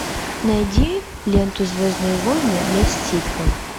найди ленту звездные войны месть ситхов